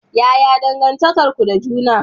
Yaya dangantakar ku da juna?